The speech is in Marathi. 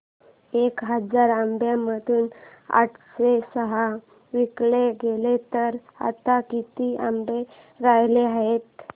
एक हजार आंब्यांमधून आठशे सहा विकले गेले तर आता किती आंबे उरले आहेत